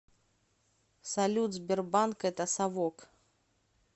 салют сбербанк это совок